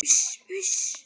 Uss, uss.